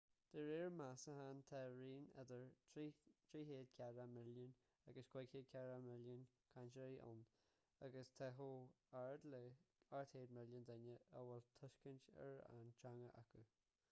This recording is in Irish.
de réir meastachán tá raon idir 340 milliún agus 500 milliún cainteoirí ann agus tá chomh hard le 800 milliún duine a bhfuil tuiscint ar an teanga acu